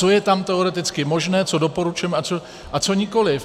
Co je tam teoreticky možné, co doporučujeme a co nikoliv.